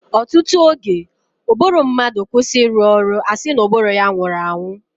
ọtụtụ oge, ụbụrụ mmadụ kwụsị ịrụ ọrụ, a sị na ụbụrụ ya nwụrụ anwụ.